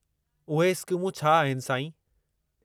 उहे स्कीमूं छा आहिनि, साईं?